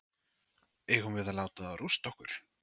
Eigum við að láta þá rústa okkur?